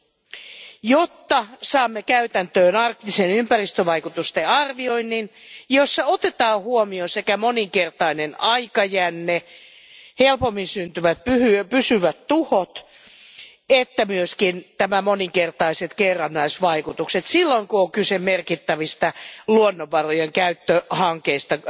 periaatteelle, ja jotta saamme käytäntöön arktisen ympäristövaikutusten arvioinnin, jossa otetaan huomioon sekä moninkertainen aikajänne, helpommin syntyvät pysyvät tuhot että myös nämä moninkertaiset kerrannaisvaikutukset, silloin kun kyse merkittävistä luonnonvarojen käyttöhankkeista,